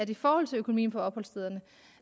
i forhold til økonomien på opholdsstederne